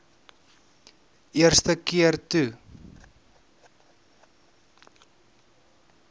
eerste keer toe